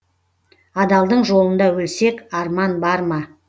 адалдың жолында өлсек арман бар ма